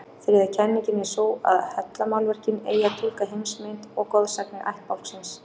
Þriðja kenningin er sú að hellamálverkin eigi að túlka heimsmynd og goðsagnir ættbálksins.